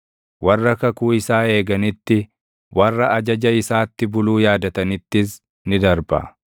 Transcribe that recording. warra kakuu isaa eeganitti, warra ajaja isaatti buluu yaadatanittis ni darba.